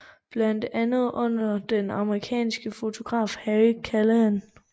Blandt andet under den amerikanske fotograf Harry Callahan